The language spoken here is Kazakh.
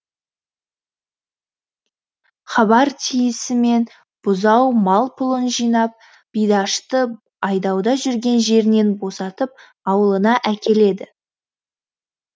хабар тиісімен бұзау мал пұлын жинап бидашты айдауда жүрген жерінен босатып аулына әкеледі